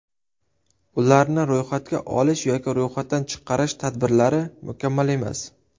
Ularni ro‘yxatga olish yoki ro‘yxatdan chiqarish tadbirlari mukammal emas.